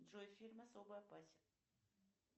джой фильм особо опасен